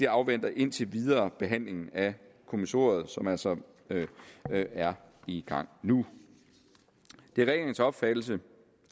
afventer indtil videre behandlingen af kommissoriet som altså er i gang nu det er regeringens opfattelse